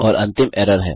और अंतिम एरर है